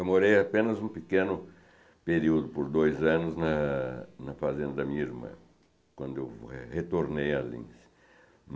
Eu morei apenas um pequeno período, por dois anos, na na fazenda da minha irmã, quando eu retornei a Lins.